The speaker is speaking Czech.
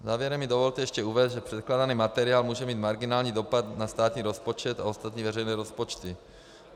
Závěrem mi dovolte ještě uvést, že předkládaný materiál může mít marginální dopad na státní rozpočet a ostatní veřejné rozpočty.